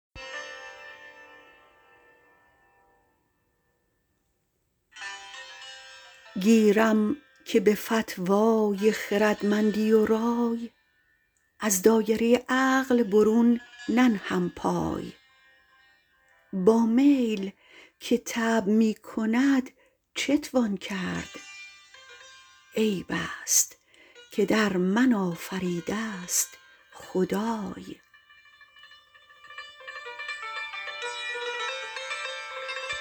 گیرم که به فتوای خردمندی و رای از دایره عقل برون ننهم پای با میل که طبع می کند چتوان کرد عیبست که در من آفریدست خدای